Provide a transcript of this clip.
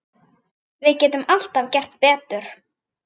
Við getum alltaf gert betur.